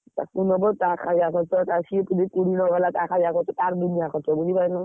ତାକୁ ନବା ଟା ଖାଇବା ଖର୍ଚ୍ଚ ତାର ଦୁନିଆ ଖର୍ଚ୍ଚ ବୁଝି ପାଇଲନା!